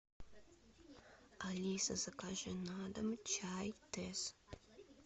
алиса закажи на дом чай тесс